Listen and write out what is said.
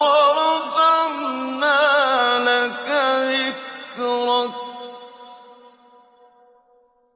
وَرَفَعْنَا لَكَ ذِكْرَكَ